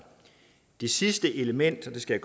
det sidste element og det skal